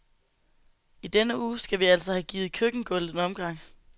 I denne uge skal vi altså have givet køkkengulvet en omgang.